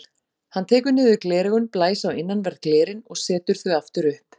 Hann tekur niður gleraugun, blæs á innanverð glerin og setur þau aftur upp.